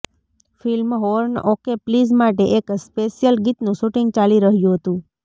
film horn OK please માટે એક special ગીતનું શૂટિંગ ચાલી રહ્યું હતું